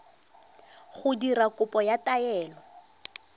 go dira kopo ya taelo